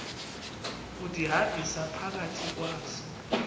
undihambisa phakathi kwazo